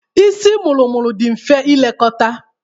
Isi mụrụ-mụrụ dị mfe ilekọta.